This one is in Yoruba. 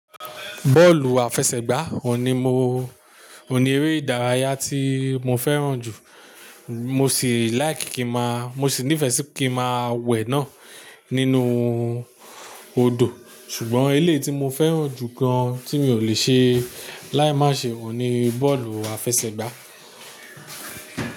Bọ́ọ̀lù àfẹsẹ̀gbá òun ní mo, òun ní eré ìdárayá tí mo fẹ́ràn jù, mo sì like kí má, mo sì nífẹ̀ẹ́ sí kí ma wẹ̀ náà nínú odò. Ṣùgbọ́n eléyìí ti mo fẹ́ràn jù kan tí mi ò lè ṣe láì má ṣe ò ní bọ́ọ̀lù àfẹsẹ̀gbá.